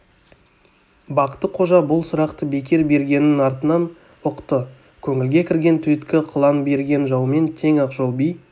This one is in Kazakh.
бақты-қожа бұл сұрақты бекер бергенін артынан ұқты көңілге кірген түйткіл қылаң берген жаумен тең ақжол би